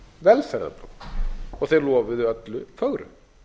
velferðar og þeir lofuðu öllu fögru